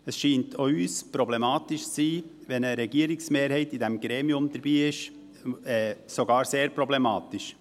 Es scheint auch uns problematisch zu sein, wenn in diesem Gremium eine Regierungsmehrheit dabei ist – sogar sehr problematisch.